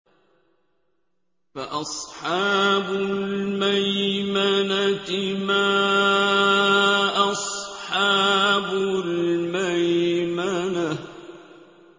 فَأَصْحَابُ الْمَيْمَنَةِ مَا أَصْحَابُ الْمَيْمَنَةِ